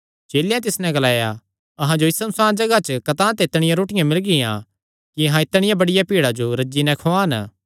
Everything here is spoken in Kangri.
चेलेयां तिस नैं ग्लाया अहां जो इस सुनसाण जगाह च कतांह ते इतणियां रोटियां मिलगियां कि अहां इतणियां बड्डिया भीड़ा जो रज्जी नैं खुआन